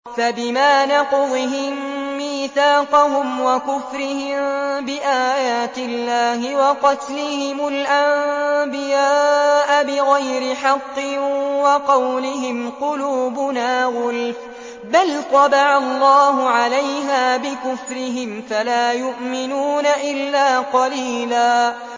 فَبِمَا نَقْضِهِم مِّيثَاقَهُمْ وَكُفْرِهِم بِآيَاتِ اللَّهِ وَقَتْلِهِمُ الْأَنبِيَاءَ بِغَيْرِ حَقٍّ وَقَوْلِهِمْ قُلُوبُنَا غُلْفٌ ۚ بَلْ طَبَعَ اللَّهُ عَلَيْهَا بِكُفْرِهِمْ فَلَا يُؤْمِنُونَ إِلَّا قَلِيلًا